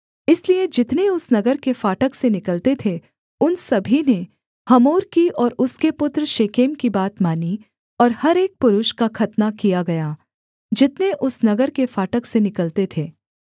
इसलिए जितने उस नगर के फाटक से निकलते थे उन सभी ने हमोर की और उसके पुत्र शेकेम की बात मानी और हर एक पुरुष का खतना किया गया जितने उस नगर के फाटक से निकलते थे